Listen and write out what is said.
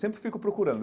Sempre fico procurando.